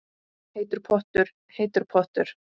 Heitur pottur, heitur pottur